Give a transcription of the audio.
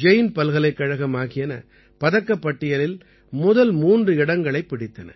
ஜெயின் பல்கலைக்கழகம் ஆகியன பதக்கப் பட்டியலில் முதல் மூன்று இடங்களைப் பிடித்தன